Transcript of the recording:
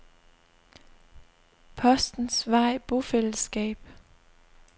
Postens Vej Bofællesskab